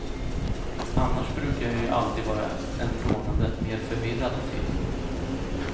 Annars brukar jag ju alltid vara en trånande, mer förvirrad typ.